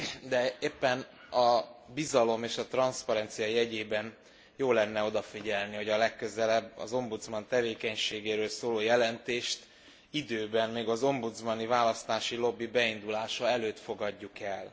De éppen a bizalom és a transzparencia jegyében jó lenne odafigyelni, hogy a legközelebb az ombudsman tevékenységéről szóló jelentést időben, még az ombudsmani választási lobby beindulása előtt fogadjuk el.